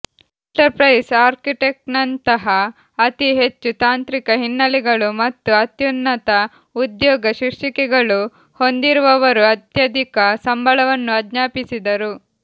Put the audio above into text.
enterprise ಆರ್ಕಿಟೆಕ್ಟ್ಸ್ನಂತಹ ಅತಿ ಹೆಚ್ಚು ತಾಂತ್ರಿಕ ಹಿನ್ನೆಲೆಗಳು ಮತ್ತು ಅತ್ಯುನ್ನತ ಉದ್ಯೋಗ ಶೀರ್ಷಿಕೆಗಳು ಹೊಂದಿರುವವರು ಅತ್ಯಧಿಕ ಸಂಬಳವನ್ನು ಆಜ್ಞಾಪಿಸಿದರು